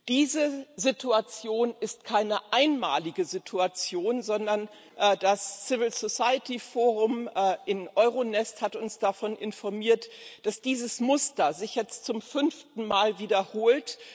Diese Situation ist keine einmalige Situation, sondern das Civil Society Forum in EuroNest hat uns darüber informiert, dass dieses Muster sich jetzt zum fünften Mal wiederholt.